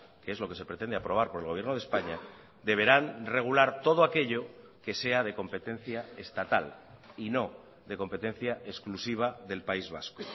que es lo que se pretende aprobar por el gobierno de españa deberán regular todo aquello que sea de competencia estatal y no de competencia exclusiva del país vasco